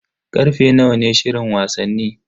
Karfe nawa ne shirin wasanni?